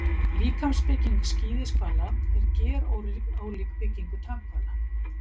Líkamsbygging skíðishvala er gerólík byggingu tannhvala.